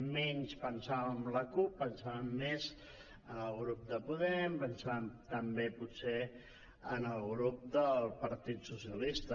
menys pensàvem en la cup pensàvem més en el grup de podem pensàvem també potser en el grup del partit socialistes